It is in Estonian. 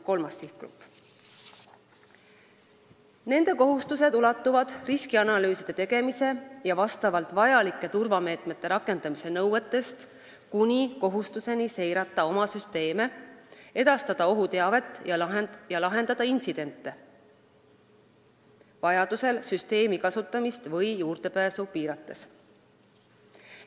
Nende kohustused ulatuvad riskianalüüside tegemise ja vajalike turvameetmete rakendamise nõuetest kuni kohustuseni seirata oma süsteeme, edastada ohuteavet ja lahendada intsidente, vajaduse korral süsteemi kasutamist või juurdepääsu piirates.